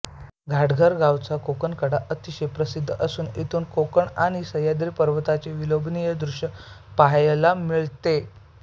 घाटघर गावचा कोकणकडा अतिशय प्रसिद्ध असुन इथुन कोकण आणि सह्याद्री पर्वताचे विलोभनीय दृश्य पहायला मिळते